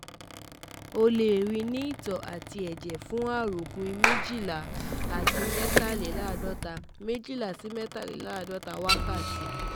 O le rii ni itọ ati ẹjẹ fun aropin mejila si mejileladota mejila si mejileladota wakati